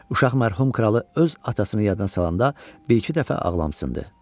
Uşaq mərhum kralı öz atasını yadına salanda bir-iki dəfə ağlamışdı.